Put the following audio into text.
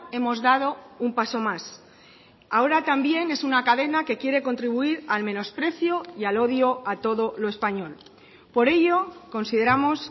hemos dado un paso más ahora también es una cadena que quiere contribuir al menosprecio y al odio a todo lo español por ello consideramos